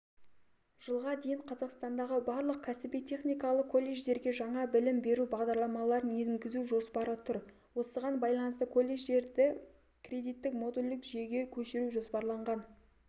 жылға дейін қазақстандағы барлық кәсіби техникалық колледждерге жаңа білім беру бағдарламаларын енгізу жоспары тұр осыған байланысты колледждерді кредиттік-модульдік жүйеге көшіру жоспарланған